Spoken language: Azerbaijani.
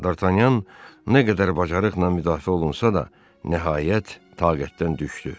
D'Artagnan nə qədər cəsarətlə müdafiə olunsa da, nəhayət, taqətdən düşdü.